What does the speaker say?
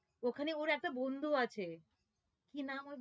ওখানে ওর একটা বন্ধুও আছে কি নাম ওর